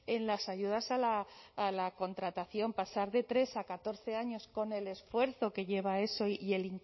en las ayudas a la contratación pasar de tres a catorce años con el esfuerzo que lleva eso y